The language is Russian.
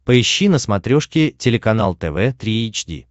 поищи на смотрешке телеканал тв три эйч ди